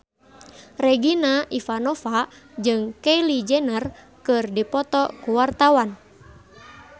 Regina Ivanova jeung Kylie Jenner keur dipoto ku wartawan